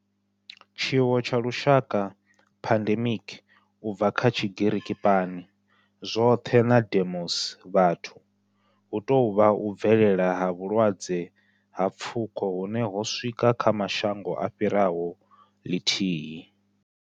Tshiwo tsha lushaka, pandemic, u bva kha Tshigiriki pan, zwothe na demos, vhathu, hu tou vha u bvelela ha vhulwadze ha pfuko hune ho swika kha mashango a fhiraho lithihi.